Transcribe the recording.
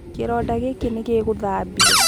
Kĩronda gĩĩkĩ nĩ gĩgũthabio.